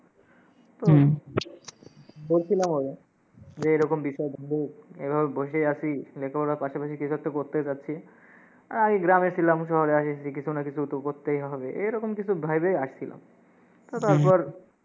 বলছিলামও আমি, যে এই রকম বিষয় থাকতে এইভাবে বসে আসি, লেখাপড়ার পাশাপাশি কিছু একটা করতে চাচ্ছি। আ- আমি গ্রামে ছিলাম, শহরে আসছি, কিছু না কিছু তো করতেই হবে এই রকম কিছু ভেবেই আসছিলাম। তো তারপর